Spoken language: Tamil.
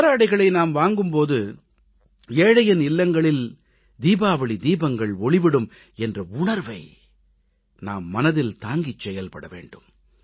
கதராடைகளை நாம் வாங்கும் போது ஏழையின் இல்லங்களில் தீபாவளி தீபங்கள் ஒளிவிடும் என்ற உணர்வை நாம் மனதில் தாங்கிச் செயல்பட வேண்டும்